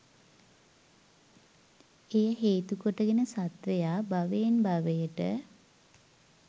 එය හේතු කොටගෙන සත්ත්වයා භවයෙන් භවයට